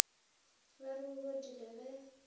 ba re o bodile ge